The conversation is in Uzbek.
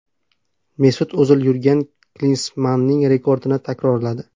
Mesut O‘zil Yurgen Klinsmanning rekordini takrorladi.